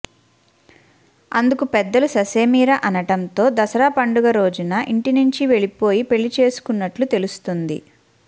అందుకు పెద్దలు ససేమిరా అనడంతో దసరా పండుగ రోజున ఇంటి నుంచి వెళ్లిపోయి పెళ్లి చేసుకున్నట్లు తెలుస్తోంది